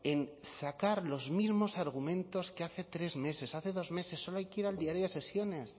en sacar los mismos argumentos que hace tres meses hace dos meses solo hay que ir al diario de sesiones